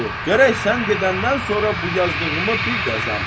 Gərək sən gedəndən sonra bu yazdığımı bir yazam.